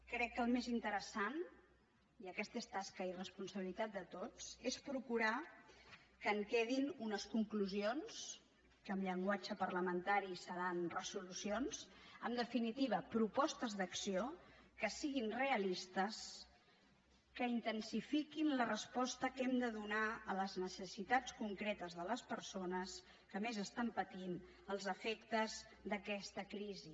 crec que el més interessant i aquesta és tasca i responsabilitat de tots és procurar que en quedin unes conclusions que en llenguatge parlamentari seran resolucions en definitiva propostes d’acció que siguin realistes que intensifiquin la resposta que hem de donar a les necessitats concretes de les persones que més pateixen els efectes d’aquesta crisi